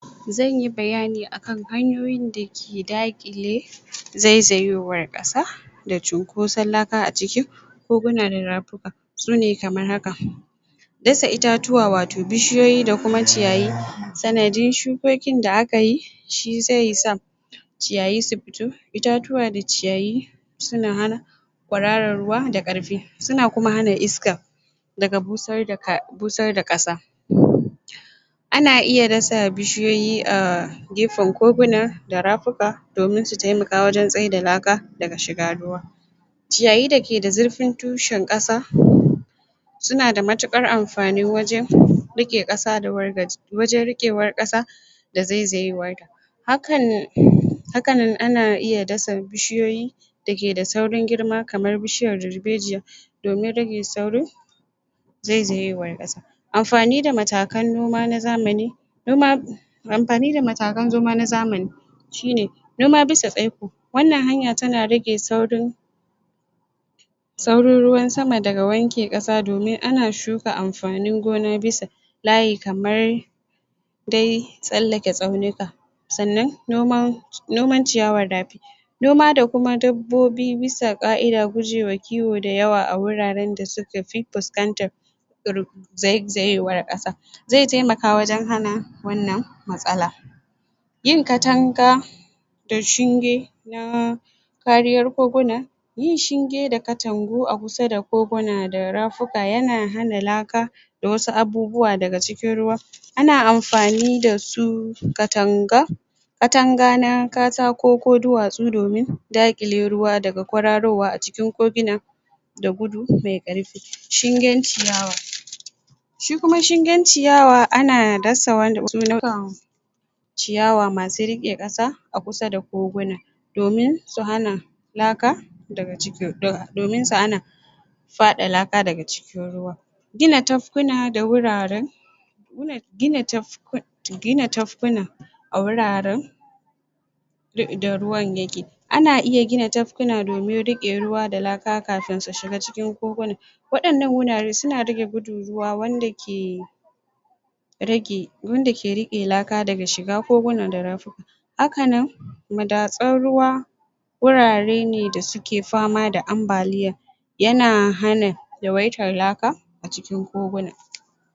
Zanyi bayani a kan hanyoyin da ke daƙile zaizayewar ƙasa da cunkoson laka a ciki koguna da rafuka sune kaman haka: Dasa itatuwa wato bishiyoyi da kuma ciyaci, sanadin shukokin da aka yi shi zai sa ciyayi sifito itatuwa da ciyayi suna hana kwararar ruwa da ƙarfi, sina kuma hana iska daga busar da ka busar da ƙasa. Ana iya dasa bishiyoyi a gefen koguna da rafuka, domin su temaka wajen tsaida laka daga shiga ruwa, ciyayi da keda zurfin tushen ƙasa suna da matuƙar amfani wajen riƙe ƙasa da wargaje wajen riƙewar ƙasa da zaizayewarta, hakan hakanan ana iya dasa bishiyoyi da keda saurin girma kamar bishiyar darbejiya domin rage saurin zaizayewar ƙasa, amfani da matakan noma na zamani noma amfani da matakan zoma na zamani shine noma bisa ƙaiko wannan hanya tana rage saurin saurin ruwan sama daga wanke ƙasa domin ana shuka amfanin gona bisa layi kamar dai tsallake tsaunika, sannan noman noman ciyawar rafi, noma da kuma dabbobi bisa ƙa'ida gujewa kiwo da yawa a wuraren da suka fi fuskantan zaizayewar ƙasa zai taimaka wajen hana wannan matsala, yin katanga da shinge na kariyar koguna, yin shinge da katangu a kusa da koguna da rafuka yana hana laka da wasu abubuwa daga cikin ruwa, ana amfani da su katanga katanga na katako ko duwatsu domin daƙile ruwa daga kwararowa a cikin kogina da gudu me ƙarfi. Shingen ciyawa shi kuma shingen ciyawa ana dasa ciyawa masu riƙe ƙasa a kusa da koguna, domin su hana laka daga cike domin su hana faɗa laka daga cikin ruwa. Gina tafkuna da wuraren gina tafku gina tafkuna a wurare da idan ruwan yake, ana iya gina tafkuna domin riƙe ruwa da laka kafin su shiga cikin tafkuna, waɗannan gurare suna rage gudun ruwa wanda ke rage wanda ke riƙe laka daga shiga kogunan da rafuka, haka nan madatsan ruwa wurare ne da suke fama da ambaliya yana hana yawaitar laka a cikin koguna.